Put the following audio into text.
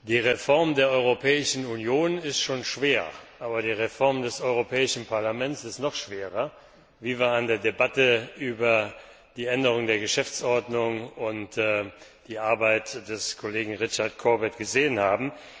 Die Reform der Europäischen Union ist schon schwer, aber die Reform des Europäischen Parlaments ist noch schwerer, wie wir an der Debatte über die Änderung der Geschäftsordnung und die Arbeit des Kollegen Richard Corbett gesehen haben.